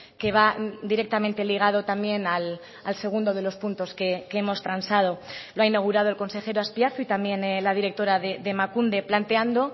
que va directamente ligado también al segundo de los puntos que hemos transado lo ha inaugurado el consejero azpiazu y también la directora de emakunde planteando